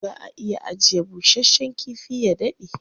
Za a iya ajiye bushasshen kifi ya daɗe.